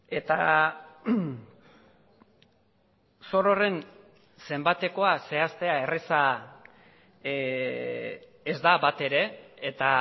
eta zor horren zenbatekoa zehaztea erraza ez da batere eta